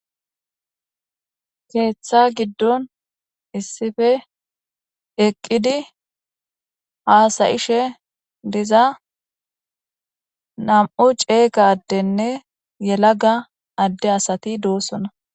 keeththa giddon issife eqqidi haasayishe diza nam7u ceeqa addenne yelaga adde asati doossona